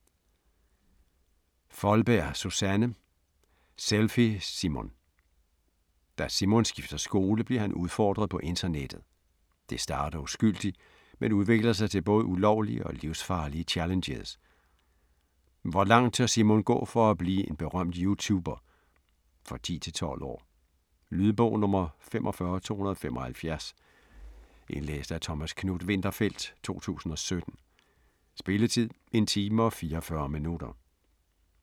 Foldberg, Susanne: Selfie Simon Da Simon skifter skole bliver han udfordret på internettet. Det starter uskyldigt, men udvikler sig til både ulovlige og livsfarlige challenges. Hvor langt tør Simon gå for at blive en berømt YouTuber? For 10-12 år. Lydbog 45275 Indlæst af Thomas Knuth-Winterfeldt, 2017. Spilletid: 1 time, 44 minutter.